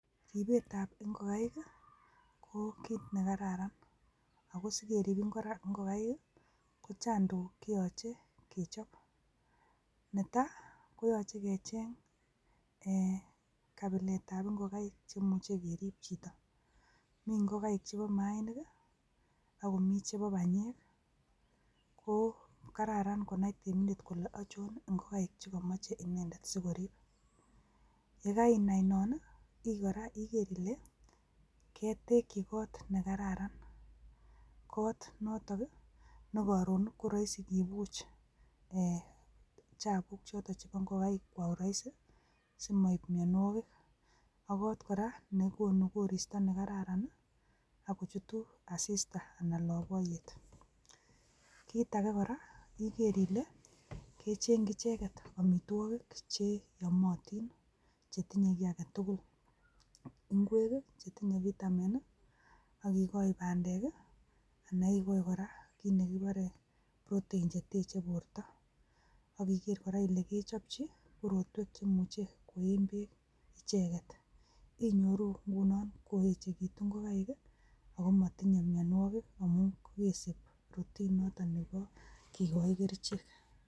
Ribetab ingokaik ko kit nekararan, ako sikeriib ingokaik ko chang tuguuk cheyoche chekecheng .Netai koyoche kecheng kabilet ab ingokaik cheimuche iriib chito. Mii ingokaik chebo mainik akomi chebo banyeek. Ko kararan ininai ile ochon ingokaik cheyoche anai si ariib. Yekainai noon, igeer ile ketekyii kot nekararan. Kot notok nekoron ko roisi kibuch chapusiek ab ingokaik kwa uraisi. Simoib mionwogiik ak kot kora nekonuu koristoo nekararan akochutu asistaa. Kitage kor a igeer Ile kechengchi icheket amitwogiik cheyoomotin, chetinye kiagetugul. Ingwek i chetinye vitamin, ak ikochi bandek anai ikochi kora kit nekikuuren protein cheteche bortoo. Ak igeer kora Ile kechopchii korwotek cheimuch koyee beek icheket. Sinyooru inguno koechekitun ingokaik akomotinye mionwek amun keesib routine notok nekeraan kikochi kerichek.